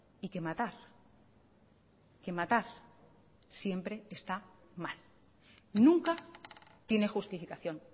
y que matar que matar siempre está mal nunca tiene justificación